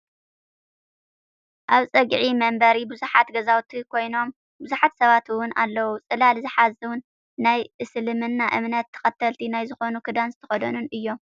ኣብ ፀጊዒ መንበሪ ብዙሓት ገዛውትን ኮይኑም ብዙሓት ሰባት እውን ኣለው ። ፅላል ዝሓዙን ናይ እስልምና እምነት ተከተልቲ ናይ ዝኮኑ ክዳን ዝተከደኑ እዮም።